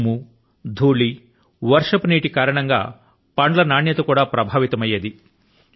దుమ్ము ధూళి వర్షపు నీరు ల కారణం గా పండ్ల నాణ్యత కూడా ప్రభావితమయ్యేది